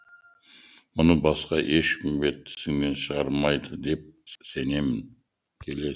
мұны басқа ешкімге тісіңнен шығармайды деп сенем